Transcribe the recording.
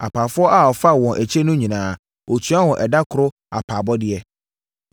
“Apaafoɔ a ɔfaa wɔn akyire no nyinaa, ɔtuaa wɔn ɛda koro apaabɔdeɛ.